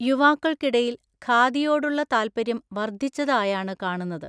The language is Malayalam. യുവാക്കള്‍ക്കിടയില്‍ ഖാദിയോടുള്ള താത്പര്യം വര്‍ധിച്ചതായാണു കാണുന്നത്.